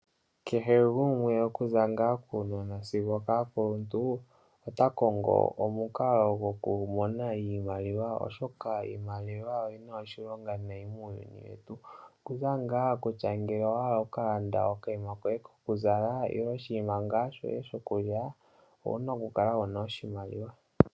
Kehe gumwe okuza ngaa kuunona sigo okokuukuluntu ota Kongo omukalo goku mona iimaliwa oshoka iimaliwa oyina oshilonga nayi muuyuni wetu okutya ngaa kutya owaala oku kalanda okanima koye kokuzala nenge oshinima shoye shokulya, owuna okukala wuna oshimaliwa.